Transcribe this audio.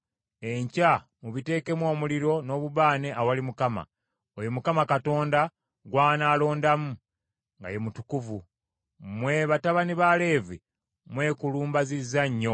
enkya mubiteekemu omuliro n’obubaane awali Mukama , oyo Mukama Katonda gw’anaalondamu, nga ye mutukuvu. Mmwe batabani ba Leevi mwekulumbazizza nnyo!”